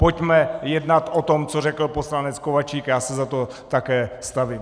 Pojďme jednat o tom, co řekl poslanec Kováčik, já se za to také stavím.